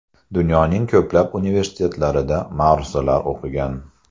Dunyoning ko‘plab universitetlarida ma’ruzalar o‘qigan.